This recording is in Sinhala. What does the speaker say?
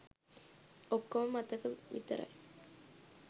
ඔක්කෝම මතක විතරයි.